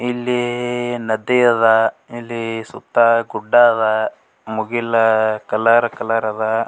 ಇಲ್ಲಿ ನದಿ ಅದ್ ಇಲ್ಲಿ ಸುತ್ತ ಗುಡ್ಡ ಅದ್ ಮುಗಿಲ್ ಕಲರ್ ಕಲರ್ ಅದ್ .